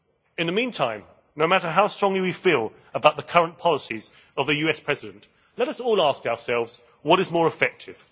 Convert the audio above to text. In the meantime, no matter how strongly we feel about the current policies of the US President, let us all ask ourselves what is more effective?